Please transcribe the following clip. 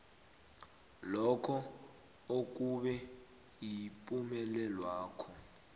lokho okube yipumelelwakho